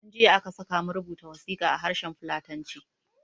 Tun jiya aka sakamu rubuta wasiƙa a harshen fulatanci